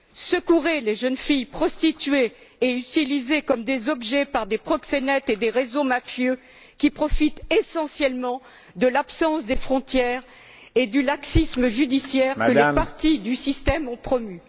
Secourez les jeunes filles prostituées et utilisées comme des objets par des proxénètes et des réseaux mafieux qui profitent essentiellement de l'absence des frontières et du laxisme judiciaire que les partis du système ont promu.